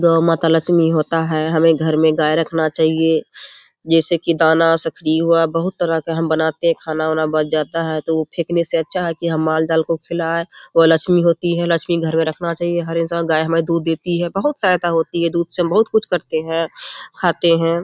गो माता लक्ष्मी होता है हमें घर में गाय रखना चाहिए जैसे की दाना सखरी हुआ बहुत तरह का हम बनाते है खाना उना बच जाता है तो उ फेकने से अच्छा है की हम माल जाल को खिलाए वो लक्ष्मी होती है लक्ष्मी घर में रखना चाहिए हर इंसान गाय हमें दूध देती है बहुत सहायता होती है दूध से बहुत कुछ करते है खाते है।